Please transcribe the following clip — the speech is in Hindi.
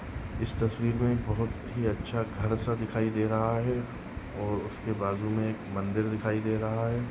इस तस्वीर मे एक बहुत ही अच्छा घर सा दिखाई दे रहा है और उसके बाजू मे एक मंदिर दिखाई दे रहा है।